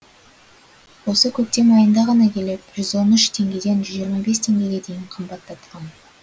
осы көктем айында ғана келіп жүз он үш теңгеден жүз жиырма бес теңгеге дейін қымбаттатқан